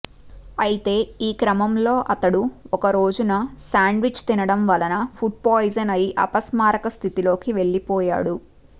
అయితే ఈ క్రమంలో అతడు ఒక రోజున శాండ్విచ్ తినడం వలన ఫుడ్ పాయిజన్ అయ్యి అపస్మారక స్థితిలోకి వెళ్లిపోయాడు